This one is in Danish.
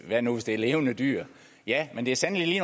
hvad nu hvis det er levende dyr ja men det er sandelig